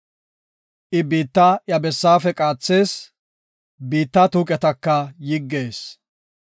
I biitta iya bessaafe qaathees; biitta tuuqetaka yiggees.